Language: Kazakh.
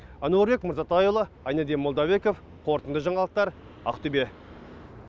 әнуарбек мырзатайұлы айнаддин молдабеков қорытынды жаңалықтар ақтөбе